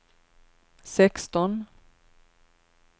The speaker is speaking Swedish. sexton